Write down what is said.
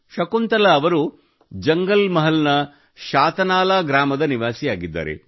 ಶಕುಂತಲಾ ಅವರು ಜಂಗಲ್ ಮಹಲ್ ನ ಶಾತನಾಲಾ ಗ್ರಾಮದ ನಿವಾಸಿಯಾಗಿದ್ದಾರೆ